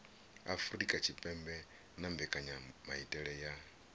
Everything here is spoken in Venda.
afurika tshipembe na mbekanyamaitele ya